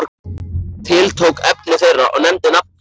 Tiltók efni þeirra og nefndi nafn þitt.